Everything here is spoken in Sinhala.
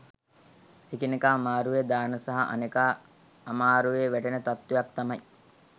එකිනෙකා අමාරුවේ දාන සහ අනෙකා අමාරුවේ වැටෙන තත්වයක් තමයි